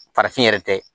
Farafin yɛrɛ tɛ